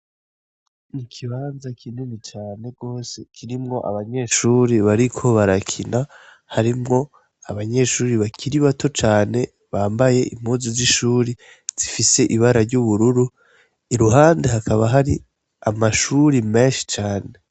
Ikibanza kinini cane gose, kirimwo abanyeshure bariko barakina, harimwo abanyeshure bakiri bato cane, bambaye impuzu z'ishuri zifise ibara ry'ubururu, iruhande hakaba hari amashuri menshi cane.